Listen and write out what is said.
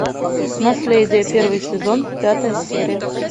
наследие первый сезон пятая серия